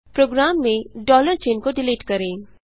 programme में चिन्ह को डिलीट करें